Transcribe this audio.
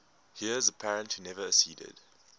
heirs apparent who never acceded